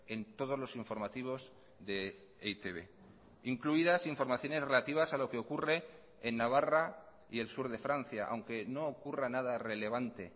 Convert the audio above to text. en todos los informativos de e i te be incluidas informaciones relativas a lo que ocurre en navarra y el sur de francia aunque no ocurra nada relevante